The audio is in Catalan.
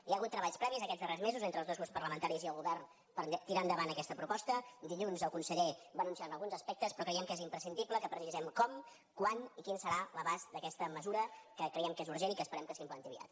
hi ha hagut treballs previs aquests darrers mesos entre els dos grups parlamentaris i el govern per tirar endavant aquesta proposta dilluns el conseller va anunciar ne alguns aspectes però creiem que és imprescindible que precisem com quan i quin serà l’abast d’aquesta mesura que creiem que és urgent i que esperem que s’implanti aviat